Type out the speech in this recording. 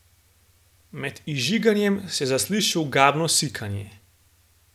Med izžiganjem se zasliši ogabno sikanje.